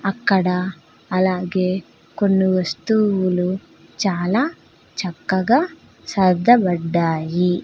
అక్కడ అలాగే కొన్ని వస్తువులు చాలా చక్కగ సర్దబడ్డాయి.